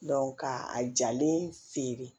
ka a jalen feere